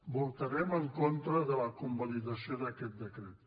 votarem en contra de la convalidació d’aquest decret